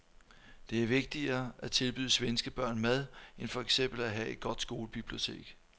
Det er vigtigere at tilbyde svenske børn mad end for eksempel at have et godt skolebibliotek.